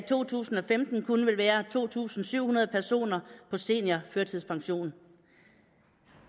to tusind og femten kun vil være to tusind syv hundrede personer på seniorførtidspension